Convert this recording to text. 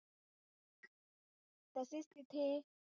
तिथे,